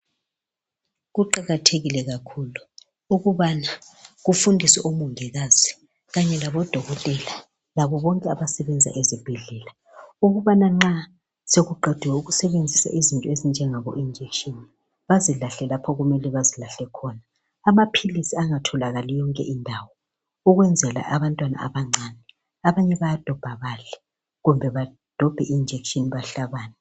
Kuqakathekile kakhulu ukubana kufundiswe omongikazi kanye labodokotela labo bonke abasebenza ezibhedlela ukubana nxa sekuqediwe ukusebenzisa izinto ezinjengabo injekishini bazilahle lapho okumele bazilahle khona amaphilisi abatholakali yonke indawo ukwenzela abantwana abancane, abanye bayadobha badle kumbe badobhe injekishini bahlabane.